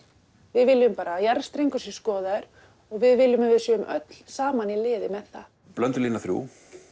við viljum bara að jarðstrengur sé skoðaður og við viljum að við séum öll saman í liði með það blöndulína þriggja